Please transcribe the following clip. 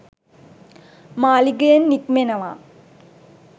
මාළිගයෙන් නික්මෙනවා